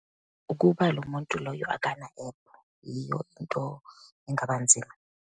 Ukuba lo muntu loyo akana ephu, yiyo into engaba nzima.